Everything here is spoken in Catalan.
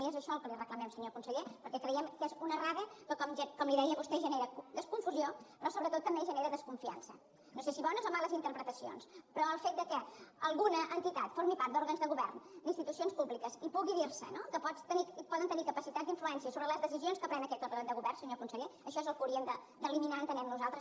i és això el que li reclamem senyor conseller perquè creiem que és una errada que com li deia a vostè genera confusió però sobretot també genera desconfiança no sé si bones o males interpretacions però el fet que alguna entitat formi part d’òrgans de govern d’institucions públiques i pugui dir se no que poden tenir capacitat d’influència sobre les deci sions que pren aquest òrgan de govern senyor conseller això és el que haurien d’eliminar entenem nosaltres